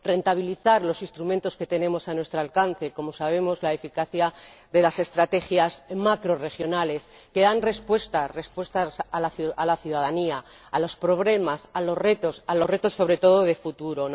Rentabilizar los instrumentos que tenemos a nuestro alcance, como sabemos, la eficacia de las estrategias macrorregionales, que dan respuestas a la ciudadanía, a los problemas, a los retos, sobre todo de futuro.